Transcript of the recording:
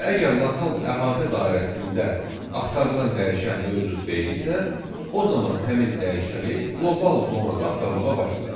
Və əgər lokal əhatə dairəsində axtarılan dəyişən mövcud deyilsə, o zaman həmin dəyişəni qlobal zonada axtarmağa başlayır.